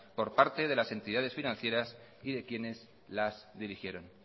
por parte de las entidades financieras y de quienes las dirigieron